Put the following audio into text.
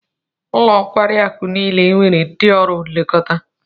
Ụlọ nkwari akụ niile nwere ndị ọrụ nlekọta